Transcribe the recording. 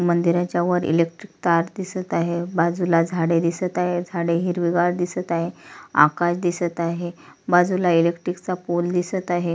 मंदिराच्या वर इलेक्ट्रिक तार दिसत आहे बाजूला झाडे दिसत आहे झाडे हिरवीगार दिसत आहे आकाश दिसत आहे बाजूला इलेक्ट्रिक चा पूल दिसत आहे.